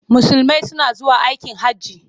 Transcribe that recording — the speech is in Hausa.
Musulmai suna zuwa aikin hajji.